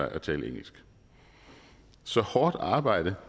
at tale engelsk så hårdt arbejde